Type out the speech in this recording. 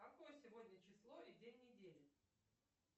какое сегодня число и день недели